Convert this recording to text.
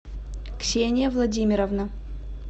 ксения владимировна